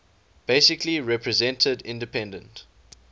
basically represented independent